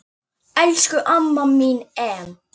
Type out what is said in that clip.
Elsku amma mín Em.